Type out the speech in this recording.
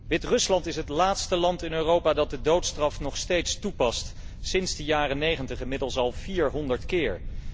Wit Rusland is het laatste land in Europa dat de doodstraf nog steeds toepast, sinds de jaren '90 inmiddels al 400 keer.